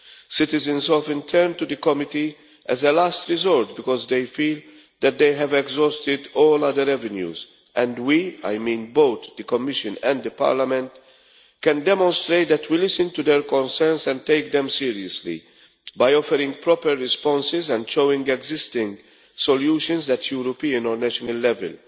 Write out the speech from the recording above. Citizens often turn to the committee as a last resort because they feel that they have exhausted all other avenues and we I mean both the Commission and Parliament can demonstrate that we listen to their concerns and take them seriously, by offering proper responses and showing existing solutions at European or national level.